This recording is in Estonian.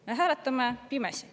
Me hääletame pimesi.